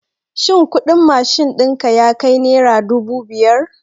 Shin kuɗin mashin ɗinka yakai nera dubu biyar?